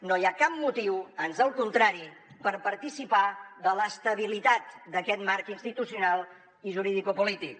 no hi ha cap motiu ans al contrari per participar de l’estabilitat d’aquest marc institucional i juridicopolític